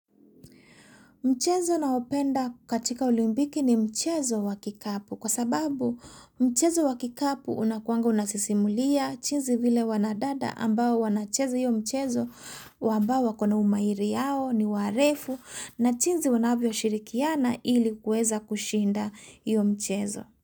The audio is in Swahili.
Mchezo naopenda katika olimpiki ni mchezo wa kikapu kwa sababu mchezo wa kikapu unakuanga unasisimulia chinzi vile wana dada ambao wanachezo hiyo mchezo wa ambao wakona umairi yao ni warefu na chinzi wanavyo shirikiana ili kueza kushinda hiyo mchezo.